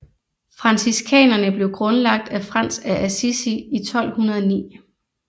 Franciskanerne blev grundlagt af Frans af Assisi i 1209